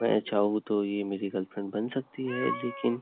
मैं चाहू तो ये मेरी गर्लफ्रेंड बन सकती है लेकिन --